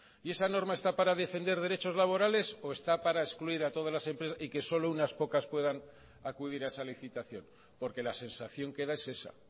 y esa norma está para defender derechos laborales o está para excluir a todas las empresas y que solo unas pocas puedan acudir a esa licitación porque la sensación que da es esa